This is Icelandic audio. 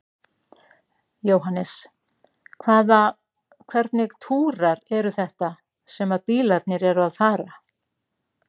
Jóhannes: Hvaða, hvernig túrar eru þetta sem að bílarnir eru að fara?